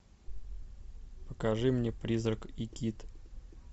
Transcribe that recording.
покажи мне призрак и кит